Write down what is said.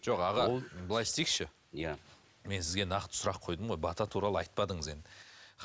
жоқ аға былай істейікші иә мен сізге нақты сұрақ қойдым ғой бата туралы айтпадыңыз енді